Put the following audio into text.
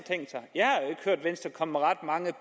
komme med ret mange